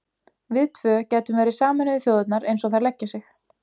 Við tvö gætum verið Sameinuðu þjóðirnar eins og þær leggja sig.